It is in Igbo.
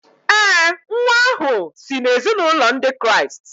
ee, nwa ahụ si n’ezinụlọ Ndị Kraịst